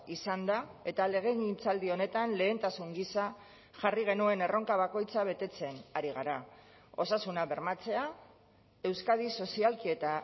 izan da eta legegintzaldi honetan lehentasun gisa jarri genuen erronka bakoitza betetzen ari gara osasuna bermatzea euskadi sozialki eta